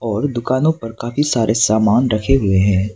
और दुकानों पर काफी सारे सामान रखे हुए हैं।